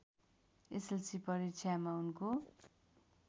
SLC परीक्षामा उनको